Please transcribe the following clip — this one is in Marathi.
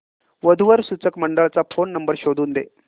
वधू वर सूचक मंडळाचा फोन नंबर शोधून दे